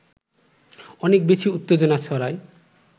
অনেক বেশি উত্তেজনা ছড়ায়